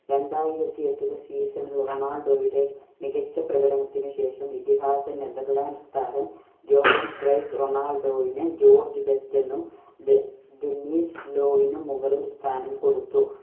രണ്ടായിരത്തി എട്ടിൽ season ൽ റൊണാൾഡോയുടെ മികച്ച പ്രകടനത്തിന് ശേഷം ഇതിഹാസ നെതർലൻഡ്‌സ്‌ താരം ജോഹോൺ ക്രെയ്സ് റൊണാൾഡോയിനെ ജോർജ് ബേസ്ഡ് നും എന്നും ഡെ~ഡെനീസ് ലോവിനും മുകളിൽ സ്ഥാനം കൊടുത്തു.